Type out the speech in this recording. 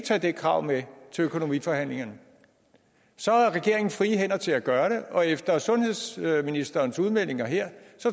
tage det krav med til økonomiforhandlingerne så har regeringen frie hænder til at gøre det og efter sundhedsministerens udmeldinger her